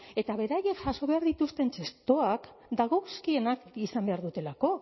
eta beraiek jaso behar dituzten txertoak dagozkienak izan behar dutelako